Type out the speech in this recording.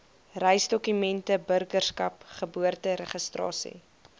reisdokumente burgerskap geboorteregistrasie